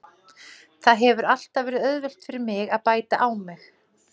Það hefur alltaf verið auðvelt fyrir mig að bæta á mig.